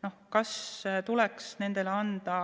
Näiteks kas talle tuleks anda